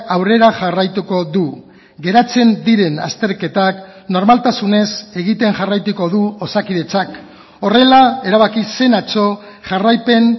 aurrera jarraituko du geratzen diren azterketak normaltasunez egiten jarraituko du osakidetzak horrela erabaki zen atzo jarraipen